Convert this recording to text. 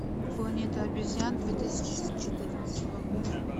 планета обезьян две тысячи четырнадцатого года